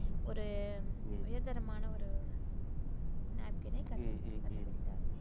ஒரு உயர்தரமான ஒரு napkin ஐ கண்டு~ கண்டுபிடித்தார்.